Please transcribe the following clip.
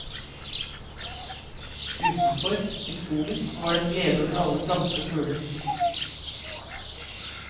Utenfor, i skogen, var det en glede over alle planter og fugler.